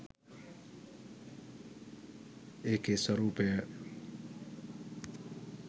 ඒකෙ ස්වරූපය.